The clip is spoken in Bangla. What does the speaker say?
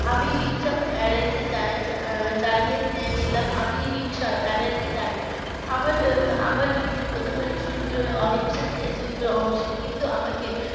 আমি হিংসা এড়াইতে চাইছিলাম আমি হিংসা এড়াইতে চাই আমার আমার নীতি প্রথমের সূত্র অহিংসা কিন্তু আমাকে